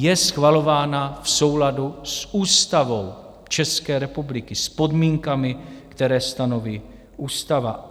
Je schvalována v souladu s Ústavou České republiky, s podmínkami, které stanoví ústava.